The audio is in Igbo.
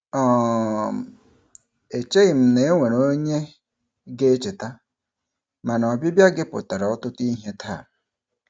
um Echeghị m na e nwere onye ga-echeta, mana ọbịbịa gị pụtara ọtụtụ ihe taa.